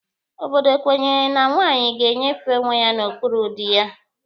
Obodo kwenyere na nwaanyị ga-enyefe onwe ya n'okpuru dị ya.